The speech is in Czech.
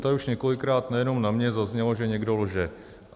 Tady už několikrát nejenom na mě zaznělo, že někdo lže.